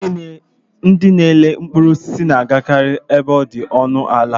Ndị na-ere mkpụrụ osisi na-agakari ebe ọ dị ọnụ ala.